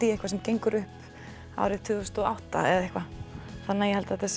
í eitthvað sem gengur upp árið tvö þúsund og átta þannig að ég held að þetta